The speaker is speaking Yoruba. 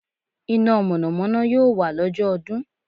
Iná Mọ̀nà Mọ̀nà yóò wà lọ́jọ́ ọdún